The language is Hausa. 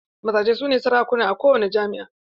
Mazaje su ne sarakuna a kowani jama"a.